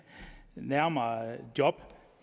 nærmere job